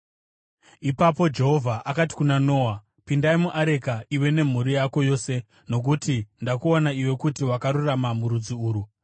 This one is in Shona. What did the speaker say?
Ipapo Jehovha akati kuna Noa, “Pindai muareka iwe nemhuri yako yose nokuti ndakuona iwe kuti wakarurama murudzi urwu.